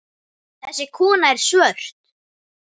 Þessi kona er svört.